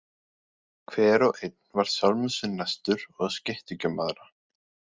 Hver og einn var sjálfum sér næstur og skeytti ekki um aðra.